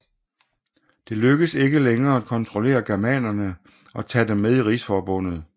Det lykkedes ikke længere at kontrollere germanerne og tage dem med i rigsforbundet